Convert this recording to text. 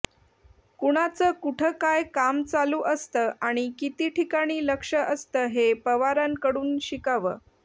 कुणाच कुठं काय काम चालू असतं आणि किती ठिकाणी लक्ष असतं हे पवारांकडून शिकावं